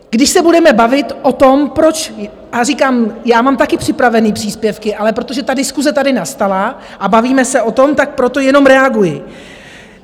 Když se budeme bavit o tom, proč - a říkám, já mám také připravené příspěvky, ale protože ta diskuse tady nastala a bavíme se o tom, tak proto jenom reaguji.